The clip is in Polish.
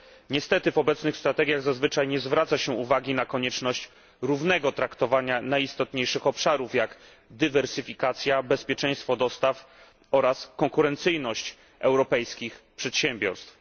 Niestety w obecnych strategiach zazwyczaj nie zwraca się uwagi na konieczność równego traktowania najistotniejszych obszarów, takich jak dywersyfikacja, bezpieczeństwo dostaw oraz konkurencyjność europejskich przedsiębiorstw.